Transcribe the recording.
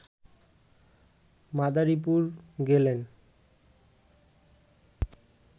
মাদারীপুর গেলেন